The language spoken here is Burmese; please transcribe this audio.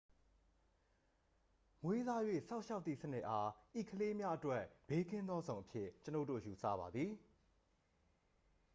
မွေးစား၍ စောင့်ရှောက်သည့်စနစ် အား ဤကလေးများအတွက် ဘေးကင်းသောဇုန်အဖြစ် ကျွန်ုပ်တို့ ယူဆပါသည်